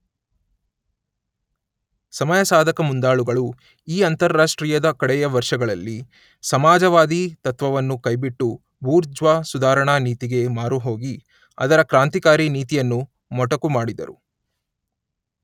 ಸಮಯಸಾಧಕ ಮುಂದಾಳುಗಳು ಈ ಅಂತಾರಾಷ್ಟ್ರೀಯದ ಕಡೆಯ ವರ್ಷಗಳಲ್ಲಿ ಸಮಾಜವಾದಿ ತತ್ವವನ್ನು ಕೈಬಿಟ್ಟು ಬೂರ್ಜ್ವಾ ಸುಧಾರಣಾ ನೀತಿಗೆ ಮಾರುಹೋಗಿ ಅದರ ಕ್ರಾಂತಿಕಾರಿ ನೀತಿಯನ್ನು ಮೊಟಕು ಮಾಡಿದರು.